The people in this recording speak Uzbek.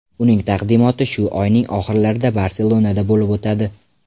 Uning taqdimoti shu oyning oxirlarida Barselonada bo‘lib o‘tadi.